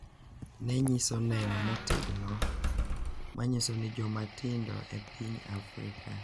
ne nyiso neno motegno ma nyiso ni joma tindo e piny Afrika .